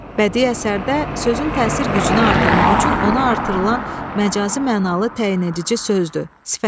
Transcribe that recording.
Bədi əsərdə sözün təsir gücünü artırmaq üçün ona artırılan məcazi mənalı təyinedici sözdür.